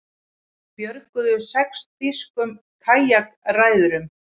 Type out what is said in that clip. Björguðu sex þýskum kajakræðurum